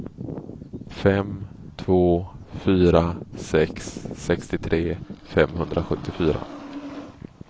fem två fyra sex sextiotre femhundrasjuttiofyra